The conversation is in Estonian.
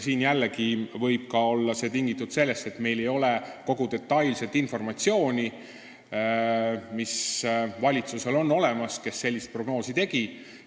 See võib jällegi olla tingitud sellest, et meil ei ole kogu detailset informatsiooni, mis on olemas valitsusel, kes sellise prognoosi tegi.